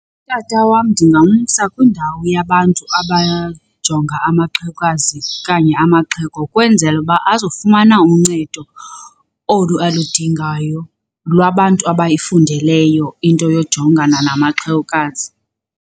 Utata wam ndingamsa kwindawo yabantu abajonga amaxhewukazi okanye amaxhego kwenzela uba azofumana uncedo olu aludingayo lwabantu abayifundeleyo into yojongana namaxhewukazi.